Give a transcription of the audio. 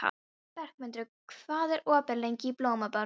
Bergmundur, hvað er opið lengi í Blómaborg?